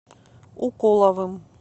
уколовым